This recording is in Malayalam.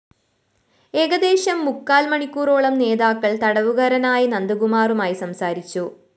ഏകദേശം മുക്കാല്‍ മണിക്കൂറോളം നേതാക്കള്‍ തടവുകരനായ നന്ദകുമാറുമായി സംസാരിച്ചു